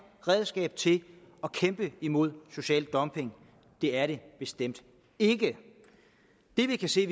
redskab til at kæmpe imod social dumping det er det bestemt ikke det vi kan se